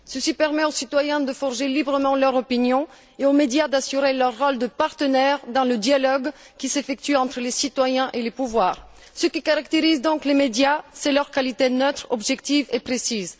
Ceci permet aux citoyens de forger librement leur opinion et aux médias d'assurer leur rôle de partenaire dans le dialogue qui s'effectue entre les citoyens et les pouvoirs. Ce qui caractérise donc les médias, c'est leur qualité neutre, objective et précise.